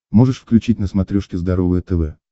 можешь включить на смотрешке здоровое тв